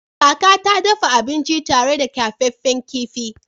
Kaka ta dafa abinci tare da kyafaffen kifi.